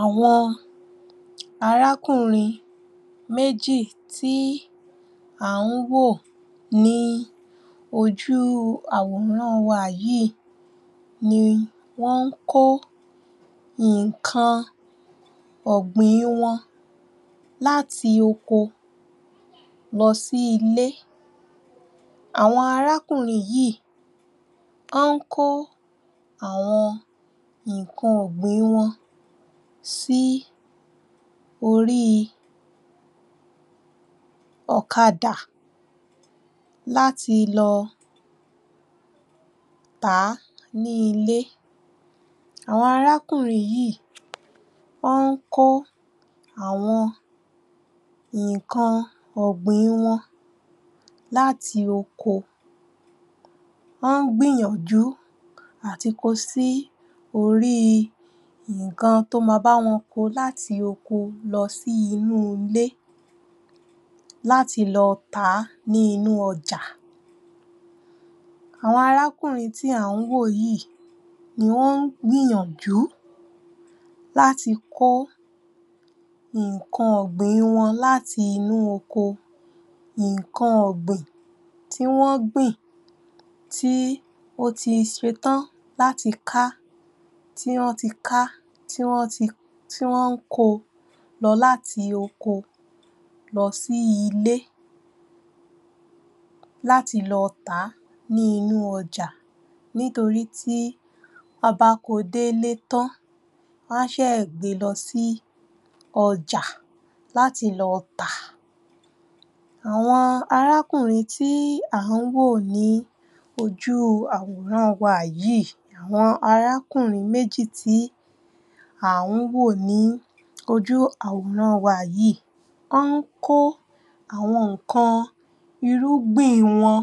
Àwọn arákùnrin méjì tí à ń wò ní ojú àwòrán wa yìí ni wọ́n ń kó nǹkan ọ̀gbìn wọn láti oko lọ sí ilé Àwọn arákùnrin yìí, wọ́n ń kó àwọn nǹkan ọ̀gbìn wọn sí orí ọ̀kadà láti lọ tàá ní ilé Àwọn arákùnrin yìí, wọ́n ń kó àwọn nǹkan ọ̀gbìn wọn láti oko wọ́n ń gbìyànjú láti ko sí orí nǹkan tó máa bá wọn ko láti oko lọ sí inú ilé láti lọ tàá ní inú ọjà àwọn arákùnrin tí à ń wò yìí ni wọ́n ń gbíyànjú láti ko nǹkan ọ̀gbìn wọn láti inú oko nǹkan ọ̀gbìn tí wọ́n gbìn tí ó ti ṣe tán láti ká, tí wọ́n ti ká, tí wọ́n ko lọ láti oko lọ sí ilé láti lọ tà ní inú ọjà nítorí tí wọ́n bá ko dé ilé tán, wọ́n á ṣẹ̀ gbe lọ sí ọjà láti lọ tà àwọn arákùnrin tí à ń wò ní ní ojú àwòrán wa yìí, àwọn arákùnrin méjì tí à ń wò ní ojú àwòrán wa yìí wọ́n ń kó àwọn nǹkan irúgbìn wọn